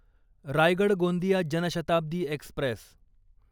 Raigad Gondia Janshatabdi Express